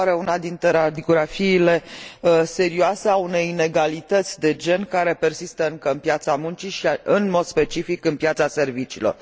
Mi se pare una dintre radiografiile serioase ale unei inegalități de gen care persistă încă pe piața muncii și, în mod specific, pe piața serviciilor.